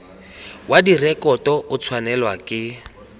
wa direkoto o tshwanelwa ke